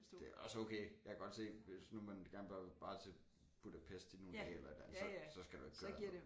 Det også okay jeg kan godt se hvis nu man gerne bare bare til Budapest i nogle dage eller et eller andet så så skal du ikke gøre det